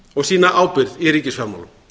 og sýna ábyrgð í ríkisfjármálum